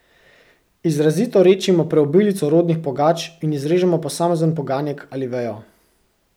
Izrazito redčimo preobilico rodnih pogač in izrežemo posamezen poganjek ali vejo.